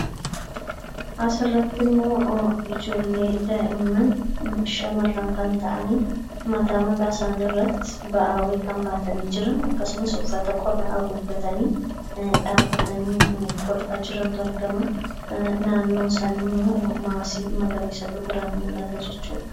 Asirratti ijoollee shamarran daa'imman kan ta'an mataa isaanii irratti ba'aa kan baatanii jiran akkasumas uffata qorraa haguuggatanii, dhaabbatanii kolfantu argama. Naannoo isaanii immoo maasii magarasiitu argama.